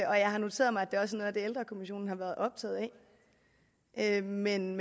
og jeg har noteret mig at det også er det ældrekommissionen har været optaget af men